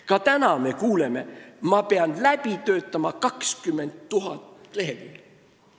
Ka tänapäeval me kuuleme, et tuleb läbi töötada 20 000 lehekülge.